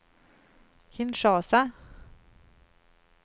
Kinshasa